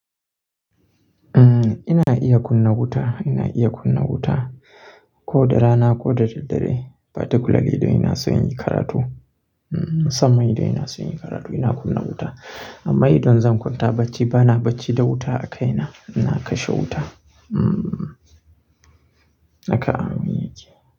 Ina iya kunna wuta, ina iya kunna wuta ko da rana ko da daddare. Particularly idan ina son yin karatu. Sannan idan ina son yin karatu ina kunna wuta. Amma idan zan kwanta bacci bana bacci da wuta a kai na, ina kashe wuta. Naka amin yake.